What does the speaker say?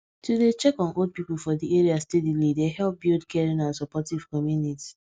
to dey check on old people for the area steadily dey help build caring and supportive community